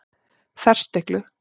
Ferstiklu